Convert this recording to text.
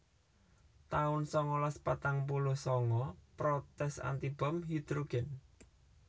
taun sangalas patang puluh sanga Protes anti bom hidhrogèn